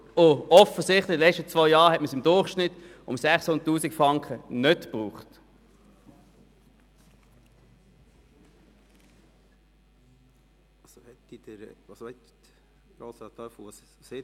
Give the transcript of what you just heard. Offensichtlich brauchte man über die letzten zwei Jahre hinweg durchschnittlich 600 000 Franken jährlich nicht.